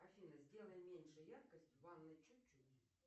афина сделай меньше яркость в ванной чуть чуть